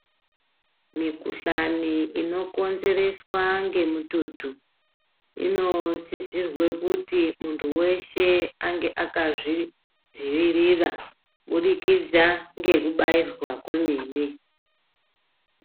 Mikuhlani inokonzereswa ngemututu, inosizirwe kuti muntu veshe ange akazvidzivirira kubudikidza ngekubairwa kumene.